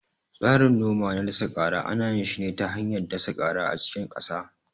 Tsarin noma na dasa kara ana yin shi ne ta hanyar dasa kara a cikin ƙasa